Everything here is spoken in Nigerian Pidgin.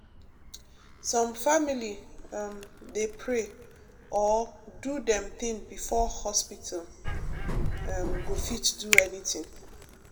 some family um dey pray or do dem thing before hospital um go fit do anything.